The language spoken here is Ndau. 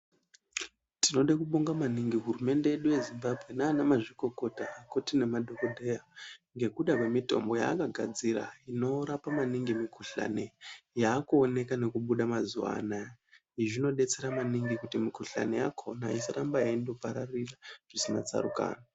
Tinoda kubonga maningi hurumende yedu yeZimbabwe nana mazvikokota kuda nemadhokoteya ngekuda kwemitombo yakagadzira inorapa maningi mikuhlani yakuoneka nekubuda mazuva anawa. Izvi zvinodetsera maningi kuti mikuhlani yakona isaramba yeindoparirira zvisina tsarukano.